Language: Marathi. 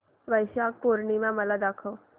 वैशाख पूर्णिमा मला दाखव